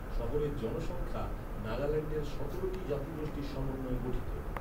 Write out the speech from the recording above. শহরের জনসংখ্যা, নাগাল্যান্ডের সতেরোটি জাতিগোষ্ঠীর সমন্বয়ে গঠিত।